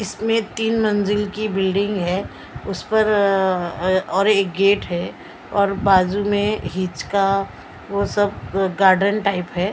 इसमें तीन मंजिल की बिल्डिंग है उस पर अह अह और एक गेट है और बाजू में हीच का वो सब गार्डन टाइप है।